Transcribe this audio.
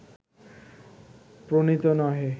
প্রণীত নহে